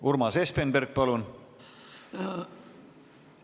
Urmas Espenberg, palun!